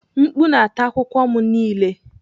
Mkpu na-ata akwụkwọ m niile.